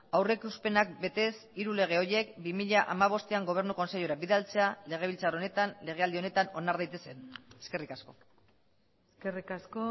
aurrikuspenak betez hiru lege horiek bi mila hamabostean gobernu kontseilura bidaltzea legebiltzar honetan legealdi honetan onar daitezen eskerrik asko eskerrik asko